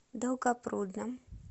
долгопрудном